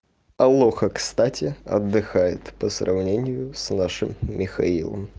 алоха кстати отдыхает по сравнению с нашим михаилом